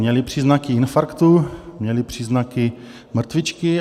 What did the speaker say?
Měli příznaky infarktu, měli příznaky mrtvičky.